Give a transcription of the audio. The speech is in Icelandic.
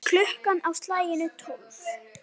Klukkan á slaginu tólf.